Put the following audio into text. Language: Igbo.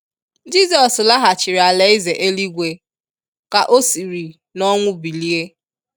Jizọs laghachiri ala eze eluigwe, ka o siri n'ọnwụ bilie.